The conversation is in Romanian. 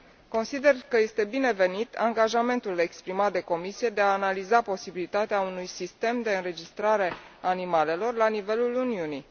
Consider că este binevenit angajamentul exprimat de Comisie de a analiza posibilitatea unui sistem de înregistrare a animalelor la nivelul Uniunii.